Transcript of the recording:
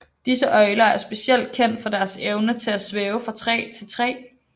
Disse øgler er specielt kendt for deres evne til at svæve fra træ til træ